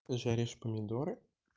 ты жаришь помидоры